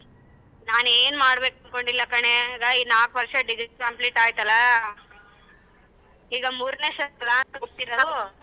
ನಾನ್ ಏನ್ ಮಾಡ್ಬೇಕು ಅನ್ಕೊಂಡಿಲ್ಲ ಕಣೆ ಇದ ನಾಲ್ಕ ವರ್ಷ degree complete ಆಯ್ತಲ್ಲಾ ಈಗ ಮೂರನೇ sem ಕ್ಲಾಸ್ ಹೋಗ್ತಿರದು.